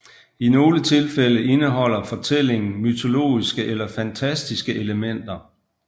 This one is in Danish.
I nogle tilfælde indeholder fortællingen mytologiske eller fantastiske elementer